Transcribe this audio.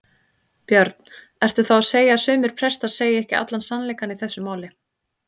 Björn: Ertu þá að segja að sumir prestar segir ekki allan sannleikann í þessu máli?